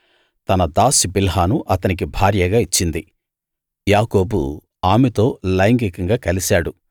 తన దాసి బిల్హాను అతనికి భార్యగా ఇచ్చింది యాకోబు ఆమెతో లైంగికంగా కలిశాడు